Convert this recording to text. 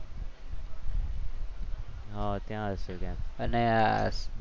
હા ત્યાં હશે ક્યાંક અને